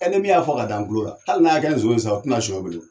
E nii min y'a fɔ ka da n kulokan hali n'a ya kɛ nson ye sa o a tɛna sunyan belen.